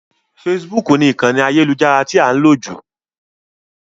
Facebook ni ìkànì ayélujára tí a ń lò jù.